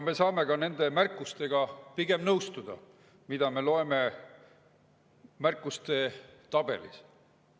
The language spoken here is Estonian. Me pigem nõustume nende märkustega, mida me loeme märkuste tabelist.